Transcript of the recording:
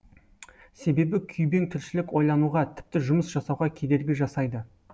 себебі күйбең тіршілік ойлануға тіпті жұмыс жасауға кедергі жасайды